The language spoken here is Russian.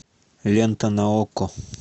лента на окко